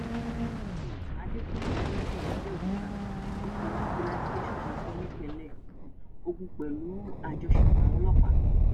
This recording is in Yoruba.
um adéfúngẹ adébíyí abẹọkúta ikọ fìjìláńte sosafe nípínlẹ um ogun pẹlú àjọṣepọ àwọn ọlọpàá